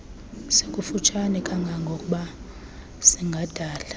sikufutshane kangangoba singadala